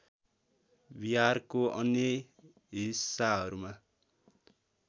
बिहारको अन्य हिस्साहरूमा